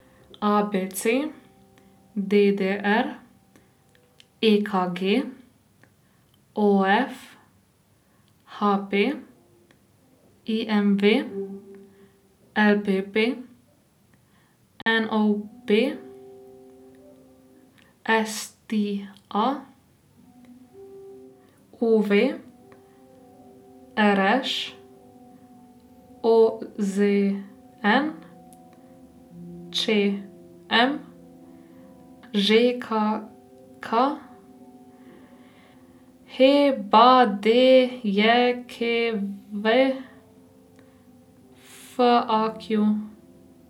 A B C; D D R; E K G; O F; H P; I M V; L P P; N O B; S T A; U V; R Š; O Z N; Č M; Ž K K; H B D J K V; F A Q.